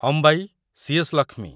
Ambai, C S. Lakshmi